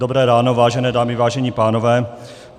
Dobré ráno, vážené dámy, vážení pánové.